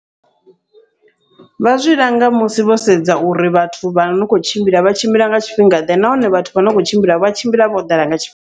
Vha zwi langa musi vho sedza uri vhathu vha no khou tshimbila vha tshimbila nga tshifhinga ḓe, nahone vhathu vhano khou tshimbila vha tshimbila vho ḓala nga tshifhi.